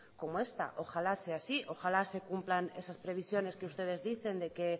como esta ojalá sea así ojalá se cumplan esas previsiones que ustedes dicen que